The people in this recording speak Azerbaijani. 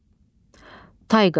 Tayqa.